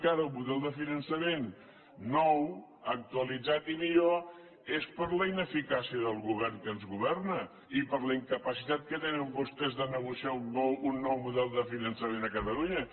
cara un model de finançament nou actualitzat i millor és per la ineficàcia del govern que ens governa i per la incapacitat que tenen vostès de negociar un nou model de finançament a catalunya